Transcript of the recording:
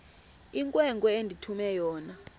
inkwenkwe endithume yona